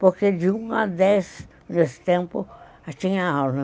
Porque de um a dez, nesse tempo, tinha aula.